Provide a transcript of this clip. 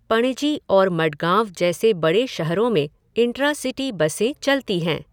पणजी और मडगाँव जैसे बड़े शहरों में इंट्रा सिटी बसें चलती हैं।